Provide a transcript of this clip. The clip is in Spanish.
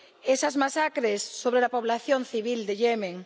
esas masacres sobre la población civil de Yemen.